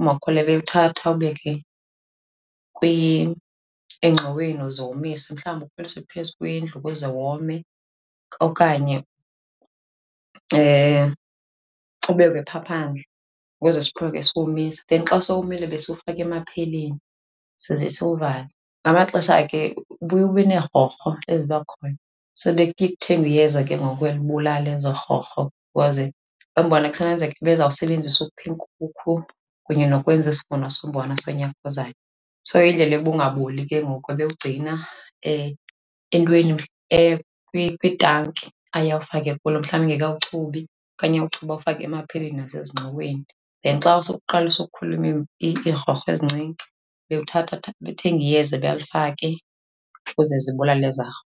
umakhulu ebewuthatha awubeke engxoweni uze womiswe. Mhlawumbi ukhweliswe phezu kwendlu ukuze wome okanye ubekwe phaa phandle ukuze siqhubeke siwomisa. Then xa sowomile besiwufaka emapheyileni size siwuvale. Ngamaxesha ke ubuye ube neerhorho eziba khona. So bekuye kuthengwe iyeza ke ngoku elibulala ezo rhorho because umbona kusenokwenzeka ebezawusebenzisa ukupha iinkukhu kunye nokwenza isivuno sombona sonyaka ozayo. So indlela yokuba ungaboli ke ngoku ebewugcina entweni, kwitanki aye awufake kulo mhlawumbi engekawuchubi okanye awuchube awufake emapheyileni nasezingxoweni. Then xa usuqalisa ukukhula iirhorho ezincinci ebewuthatha , ebethenga iyeza elo alifake ukuze zibulale ezaa .